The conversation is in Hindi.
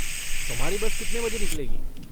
तुम्हारी बस कितने बजे निकलेगी?